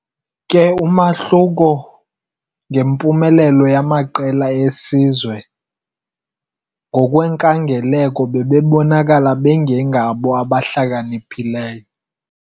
Kwi-umahluko ngempumelelo yamaqela esizwe ngokwenkangeleko bebonakala bengengabo abahlakaniphileyo.